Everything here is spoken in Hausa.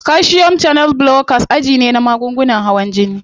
Calcium channel blockers aji ne na magungunan hawan jini.